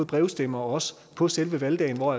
brevstemme og også på selve valgdagen hvor